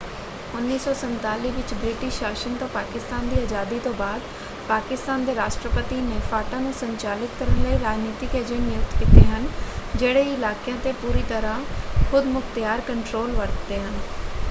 1947 ਵਿੱਚ ਬ੍ਰਿਟਿਸ਼ ਸ਼ਾਸਨ ਤੋਂ ਪਾਕਿਸਤਾਨ ਦੀ ਆਜ਼ਾਦੀ ਤੋਂ ਬਾਅਦ ਪਾਕਿਸਤਾਨ ਦੇ ਰਾਸ਼ਟਰਪਤੀ ਨੇ ਫਾਟਾ ਨੂੰ ਸੰਚਾਲਿਤ ਕਰਨ ਲਈ ਰਾਜਨੀਤਿਕ ਏਜੰਟ ਨਿਯੁਕਤ ਕੀਤੇ ਹਨ ਜਿਹੜੇ ਇਲਾਕਿਆਂ 'ਤੇ ਪੂਰੀ ਤਰ੍ਹਾਂ ਖ਼ੁਦਮੁਖ਼ਤਿਆਰ ਕੰਟਰੋਲ ਵਰਤਦੇ ਹਨ।